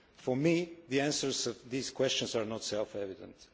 For me, the answers to these questions are not self evident.